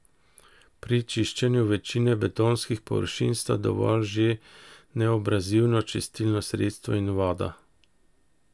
Pri čiščenju večine betonskih površin sta dovolj že neabrazivno čistilno sredstvo in voda.